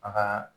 A ka